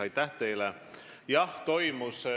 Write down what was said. Aitäh teile!